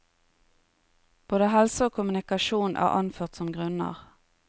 Både helse og kommunikasjon er anført som grunner.